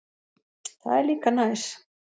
Það er líka næs.